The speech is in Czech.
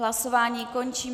Hlasování končím.